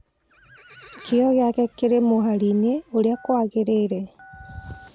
kĩo gĩake kĩri mũharĩinĩ ũrĩa kwagĩrĩire